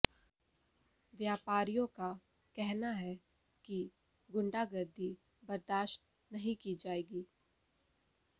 व्यापारियों का कहना है कि गुंडागर्दी बर्दाशत नहीं की जाएगी